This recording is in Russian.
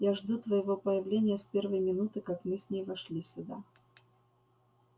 я жду твоего появления с первой минуты как мы с ней вошли сюда